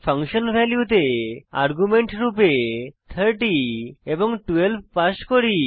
function ভ্যালুতে argument রূপে 30 এবং 12 পাস করি